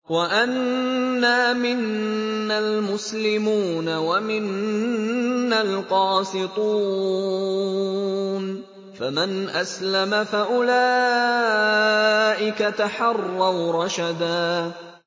وَأَنَّا مِنَّا الْمُسْلِمُونَ وَمِنَّا الْقَاسِطُونَ ۖ فَمَنْ أَسْلَمَ فَأُولَٰئِكَ تَحَرَّوْا رَشَدًا